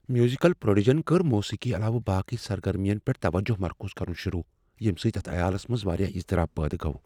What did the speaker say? Musical prodigy کٔر موسیقی علاوٕ باقٕے سرگرمین پیٹھ توجہ مرکوز کرُن شروع ییٚمہ سۭتۍ اتھ عیالس منز واریاہ اضطراب پٲدٕ گوٚو۔